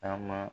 Taama